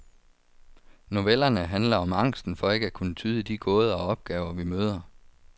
Novellerne handler om angsten for ikke at kunne tyde de gåder og opgaver, vi møder.